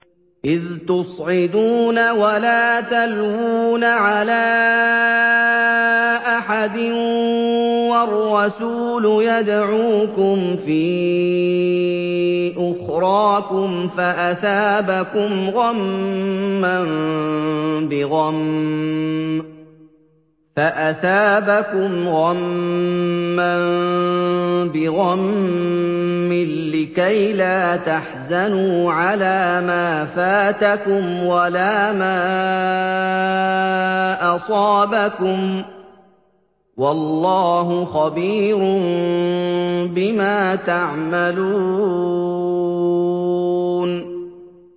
۞ إِذْ تُصْعِدُونَ وَلَا تَلْوُونَ عَلَىٰ أَحَدٍ وَالرَّسُولُ يَدْعُوكُمْ فِي أُخْرَاكُمْ فَأَثَابَكُمْ غَمًّا بِغَمٍّ لِّكَيْلَا تَحْزَنُوا عَلَىٰ مَا فَاتَكُمْ وَلَا مَا أَصَابَكُمْ ۗ وَاللَّهُ خَبِيرٌ بِمَا تَعْمَلُونَ